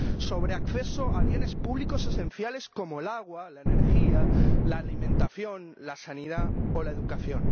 sobre el acceso a bienes públicos esenciales, como el agua, la energía, la alimentación, la sanidad o la educación.